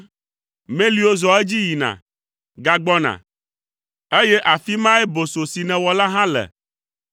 Meliwo zɔa edzi yina, gagbɔna, eye afii mae boso si nèwɔ la hã le.